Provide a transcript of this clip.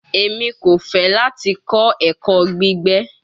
Emi ko fẹ lati kọ ẹkọ gbigbe